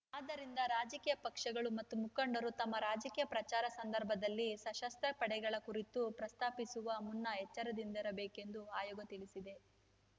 ಆದ್ದರಿಂದ ರಾಜಕೀಯ ಪಕ್ಷಗಳು ಮತ್ತು ಮುಖಂಡರು ತಮ್ಮ ರಾಜಕೀಯ ಪ್ರಚಾರ ಸಂದರ್ಭದಲ್ಲಿ ಸಶಸ್ತ್ರ ಪಡೆಗಳ ಕುರಿತು ಪ್ರಸ್ತಾಪಿಸುವ ಮುನ್ನ ಎಚ್ಚರದಿಂದಿರಬೇಕೆಂದು ಆಯೋಗ ತಿಳಿಸಿದೆ